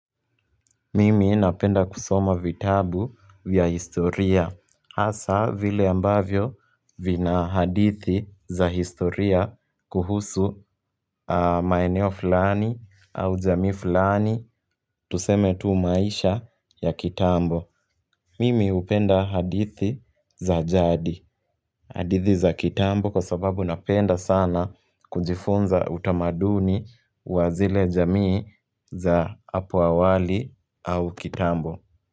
Mimi napenda kusoma vitabu vya historia Hasa vile ambavyo vina hadithi za historia kuhusu maeneo fulani au jamii fulani Tuseme tu maisha ya kitambo Mimi hupenda hadithi za jadi hadithi za kitambo kwa sababu napenda sana kujifunza utamaduni wa zile jamii za apo awali au kitambo.